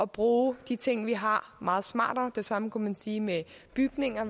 bruge de ting vi har meget smartere det samme kunne man sige med bygninger